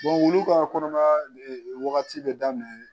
wulu ka kɔnɔya wagati bɛ daminɛ